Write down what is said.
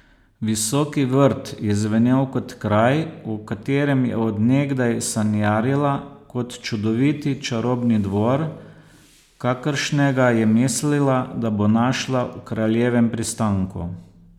Visoki vrt je zvenel kot kraj, o katerem je od nekdaj sanjarila, kot čudoviti čarobni dvor, kakršnega je mislila, da bo našla v Kraljevem pristanku.